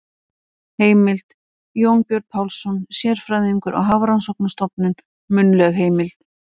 Heimild: Jónbjörn Pálsson, sérfræðingur á Hafrannsóknarstofnun- munnleg heimild.